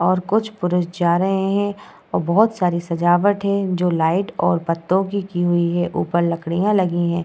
और कुछ पुरुष जा रहे हैं और बहुत सारे सजावट है जो लाइट और पत्तों की हुई है ऊपर लकड़िया लगीं हैं।